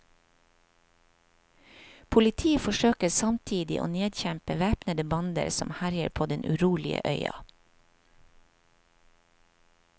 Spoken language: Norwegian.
Politi forsøker samtidig å nedkjempe væpnede bander som herjer på den urolige øya.